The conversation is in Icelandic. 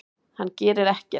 Hann gerir ekkert!